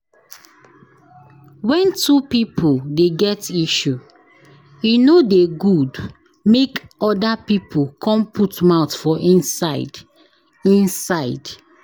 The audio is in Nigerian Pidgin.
Wen two pipo dey get issue, e no dey good make oda pipo come put mouth for inside. inside.